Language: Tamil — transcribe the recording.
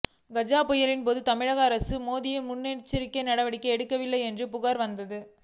கஜா புயலின் போது தமிழக அரசு போதிய முன்னெச்சரிக்கை நடவடிக்கைகள் எடுக்கவில்லை என்று புகார் வந்தது